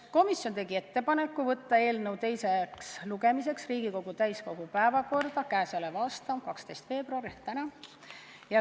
Komisjon tegi ettepaneku saata eelnõu teiseks lugemiseks Riigikogu täiskogu päevakorda k.a 12. veebruaril ehk täna.